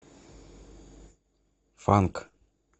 фанк